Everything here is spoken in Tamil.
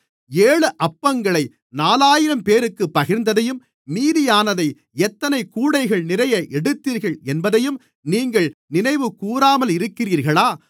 ஏழு அப்பங்களை நாலாயிரம் பேருக்குப் பகிர்ந்ததையும் மீதியானதை எத்தனை கூடைகள்நிறைய எடுத்தீர்கள் என்பதையும் நீங்கள் நினைவுகூராமலிருக்கிறீர்களா